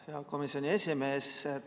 Hea komisjoni esimees!